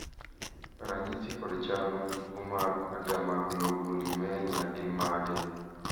ranyisi kod chal mag tuo mar Agammaglobulinemia gin mage?